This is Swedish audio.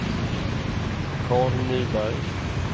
Carl Nyberg